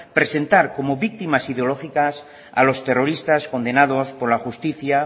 presentar cono víctimas ideológicas a los terroristas condenados por la justicia